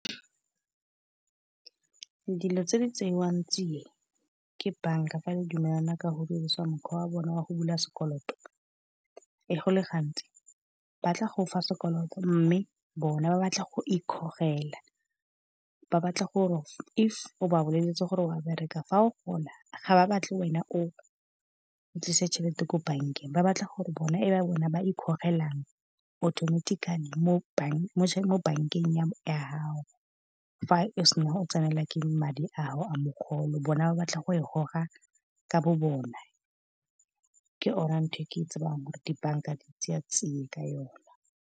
Dilo tse di tsewang tsiya ke bank-a fa le dumelana ka go dirisa mokgwa wa bona wa go bula sekoloto. E go le gantsi batla go gofa sekoloto mme bona ba batla go ikgogela. Ba batla gore if o ba boleletse gore a wa bereka, fa o gola ga ba batle wena o tlise tšhelete ko bank-eng, ba batla gore bona e ba bona ba ikgogelang automatically mo bank-eng ya gago. Fa o sena go tsenela ke madi ao a mogolo bona ba batla go e goga ka bo bona, ke yone ntho e ke e tsebang gore di-bank-a di tseya tsia ka yona.